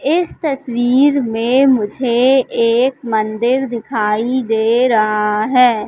इस तस्वीर में मुझे एक मंदिर दिखाई दे रहा हैं।